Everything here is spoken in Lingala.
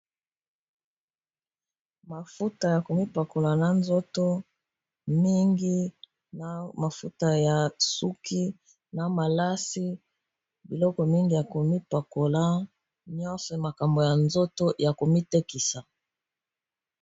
Mafuta ya komipakola na nzoto, mingi na mafuta ya suki na malasi biloko mingi ya komipakola nyonso makambo ya nzoto ya komitekisa.